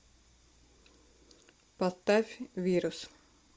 поставь вирус